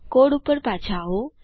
code ઉપર પાછા આવો